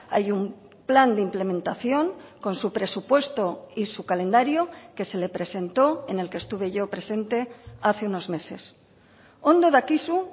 hay un plan de implementación con su presupuesto y su calendario que se le presentó en el que estuve yo presente hace unos meses ondo dakizu